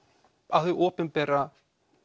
að hið opinbera